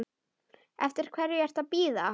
Eftir hverju ertu að bíða!